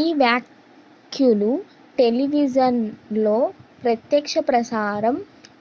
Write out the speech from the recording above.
ఈ వ్యాఖ్యలు టెలివిజన్ లో ప్రత్యక్షప్రసారం